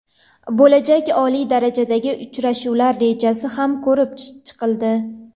Bo‘lajak oliy darajadagi uchrashuvlar rejasi ham ko‘rib chiqildi.